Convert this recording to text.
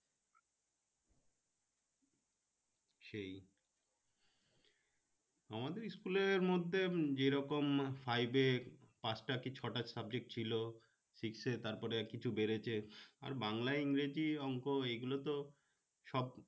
সেই আমাদের school এর মধ্যে যেরকম five এ পাচটা কি ছটা subject ছিলো six এ তারপরে কিছু বেড়েছে আর বাংলা ইংরেজি অংক এগুলো তো সব